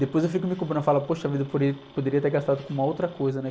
Depois eu fico me cobrando, eu falo, poxa vida, eu poderia, poderia ter gastado com uma outra coisa, né?